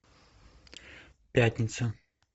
пятница